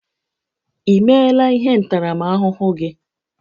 I meela ihe ntaramahụhụ gị?